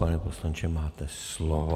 Pane poslanče, máte slovo.